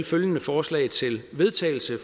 følgende forslag til vedtagelse